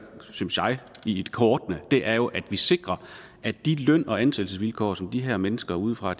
i kortene er jo at vi sikrer at de løn og ansættelsesvilkår som de her mennesker udefra